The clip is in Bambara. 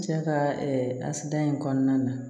N cɛ ka asidiya in kɔnɔna na